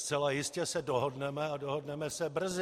Zcela jistě se dohodneme a dohodneme se brzy.